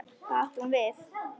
Hvað átti hún við?